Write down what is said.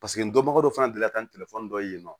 Paseke n dɔnbaga dɔ fana delila ka ni telefɔni dɔ ye yen nɔ